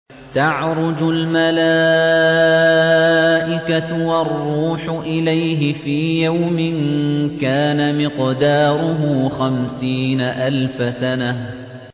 تَعْرُجُ الْمَلَائِكَةُ وَالرُّوحُ إِلَيْهِ فِي يَوْمٍ كَانَ مِقْدَارُهُ خَمْسِينَ أَلْفَ سَنَةٍ